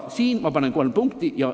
Siin ma panen kolm punkti.